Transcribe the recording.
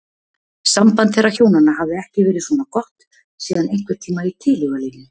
Samband þeirra hjónanna hafði ekki verið svona gott síðan einhverntíma í tilhugalífinu.